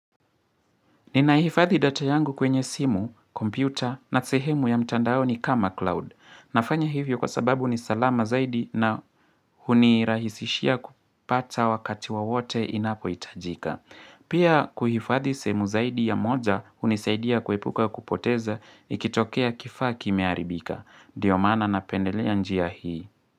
Ninaifadhi data yangu kwenye simu, kompyuta na sehemu ya mtandao ni kama cloud. Nafanya hivyo kwa sababu ni salama zaidi na hunirahisishia kupata wakati wowote inapohitajika. Pia kuhifadhi seemu zaidi ya moja hunisaidia kuepuka kupoteza ikitokea kifaaki mearibika. Ndiomaana na pendelea njia hii.